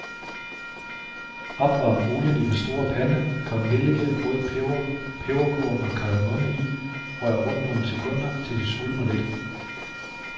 Opvarm olien i den store pande, kom nellike, rød peber, peberkorn og kardemomme i, rør rundt nogle sekunder, til de svulmer lidt.